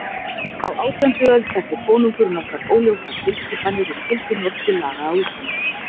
Á átjándu öld setti konungur nokkrar óljósar tilskipanir um gildi Norsku laga á Íslandi.